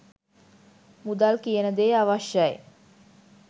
මුදල් කියන දේ අවශ්‍යයි